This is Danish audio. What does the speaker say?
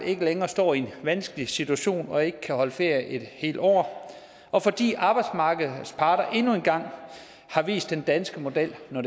ikke længere står i en vanskelig situation og ikke kan holde ferie et helt år og fordi arbejdsmarkedets parter endnu en gang har vist den danske model når